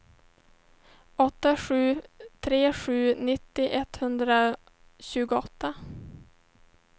åtta sju tre sju nittio etthundratjugoåtta